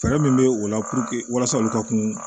Fɛɛrɛ min bɛ o la puruke walasa olu ka kun